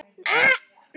Orsök bilunar?